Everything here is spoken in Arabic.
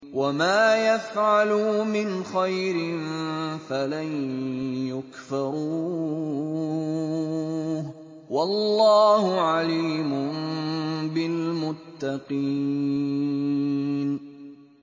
وَمَا يَفْعَلُوا مِنْ خَيْرٍ فَلَن يُكْفَرُوهُ ۗ وَاللَّهُ عَلِيمٌ بِالْمُتَّقِينَ